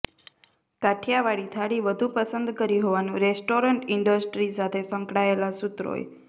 કાઠીયાવાડી થાળી વધુ પસંદ કરી હોવાનું રેસ્ટોરન્ટ ઇન્ડસ્ટ્રી સાથે સંકળાયેલા સૂત્રોએ